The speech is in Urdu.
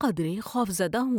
قدرے خوفزدہ ہوں۔